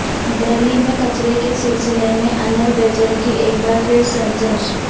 دہلی میں کچرے کے سلسلے میں انل بیجل کی ایک بار پھر سرزنش